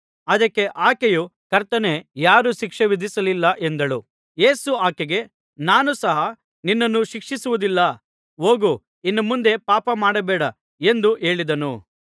ಅದಕ್ಕೆ ಆಕೆಯು ಕರ್ತನೇ ಯಾರೂ ಶಿಕ್ಷೆ ವಿಧಿಸಲಿಲ್ಲ ಎಂದಳು ಯೇಸು ಆಕೆಗೆ ನಾನೂ ಸಹ ನಿನ್ನನ್ನು ಶಿಕ್ಷೆ ವಿಧಿಸುವುದಿಲ್ಲ ಹೋಗು ಇನ್ನು ಮುಂದೆ ಪಾಪಮಾಡಬೇಡ ಎಂದು ಹೇಳಿದನು